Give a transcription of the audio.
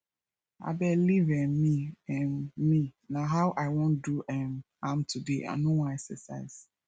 abeg leave um me um me na how i wan do um am today i no wan exercise